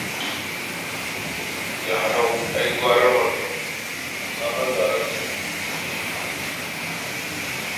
Da hanau ai gwara mannau: sabon daraktanmu "ciyen du" ne.